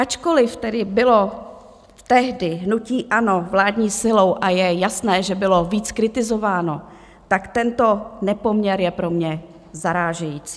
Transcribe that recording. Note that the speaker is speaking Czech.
Ačkoliv tedy bylo tehdy hnutí ANO vládní silou a je jasné, že bylo víc kritizováno, tak tento nepoměr je pro mě zarážející.